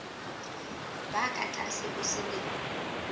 ba ka tlase ho selemo